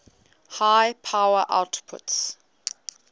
high power outputs